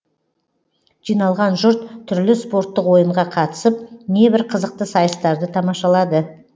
жиналған жұрт түрлі спорттық ойынға қатысып небір қызықты сайыстарды тамашалады